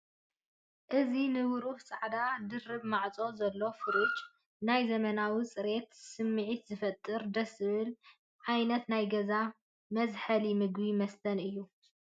እዚ ንብሩህ ጻዕዳ ድርብ ማዕጾ ዘለዎ ፍሪጅ ናይ ዘመናዊነትን ጽሬትን ስምዒት ዝፈጥርር፣ ደስ ዝብልን ዓይነት ናይ ገዛ መዝሐሊ ምግብን መስተን እዩ፡፡